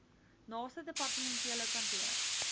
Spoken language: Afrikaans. naaste departementele kantoor